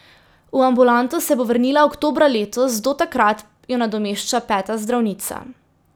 V ambulanto se bo vrnila oktobra letos, do takrat jo nadomešča peta zdravnica.